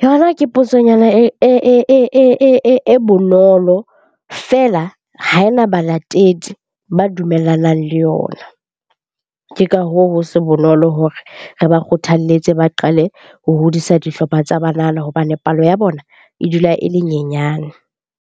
yona ke potsonyana e bonolo felea ha ena balatedi ba dumellanang le yona. Ke ka hoo, ho se bonolo hore re ba kgothaletse ba qale ho hodisa dihlopha tsa banana hobane palo ya bona e dula e le nyenyane.